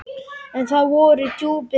En það voru djúpin dimmu.